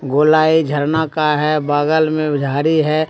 गोलाई झरना का है बगल में झाड़ी है।